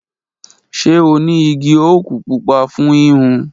Ṣe o ni igi oaku pupa fun hihun?